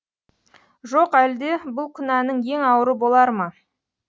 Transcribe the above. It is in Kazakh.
жоқ әлде бұл күнәнің ең ауыры болар ма